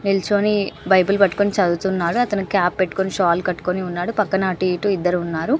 నిల్చొని బైబిల్ పట్టుకొని చదువుతున్నాడు అతను క్యాప్ పెట్టుకొని షాల్ కట్టుకొని ఉన్నాడు పక్కన అటు ఇటు ఇద్దరు ఉన్నారు.